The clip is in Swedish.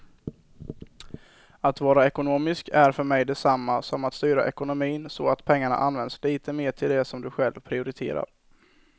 Att vara ekonomisk är för mig detsamma som att styra ekonomin så att pengarna används lite mer till det som du själv prioriterar.